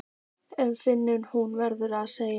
En finnst hún verða að segja